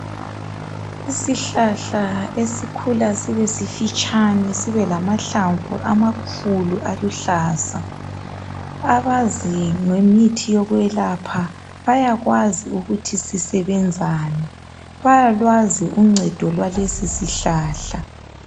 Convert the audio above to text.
Isihlahla esikhula sibe sifitshani, sibe lamahlamvu amakhulu aluhlaza. Abazi ngemithi yokwelapha, bayakwazi ukuthi sisebenzani. Bayalwazi uncedo lwalesi sihlahla.